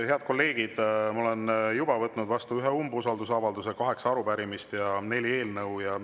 Head kolleegid, ma olen juba vastu võtnud ühe umbusaldusavalduse, kaheksa arupärimist ja neli eelnõu.